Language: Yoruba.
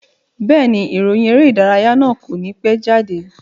Bẹ́ẹ̀ni, ìròyìn eré ìdárayá náà kò ní pẹ́ jáde